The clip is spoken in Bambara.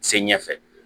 Se ɲɛfɛ